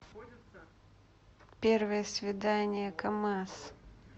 первое свидание камаз